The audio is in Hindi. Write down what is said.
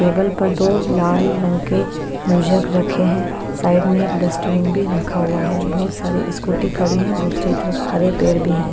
टेबल पर दो लाल रंग के रखे है साइड में एक डस्टबिन भी रखा हुआ है बहुत सारी स्कूटी खड़ी है दूसरी तरफ हरे पेड़ भी हैं।